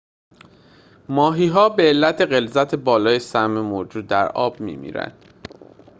ماهی‌ها به علت غلظت بالای سم موجود در آب می‌میرند